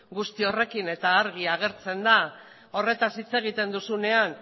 guzti horrekin eta argi agertzen da horretaz hitz egiten duzunean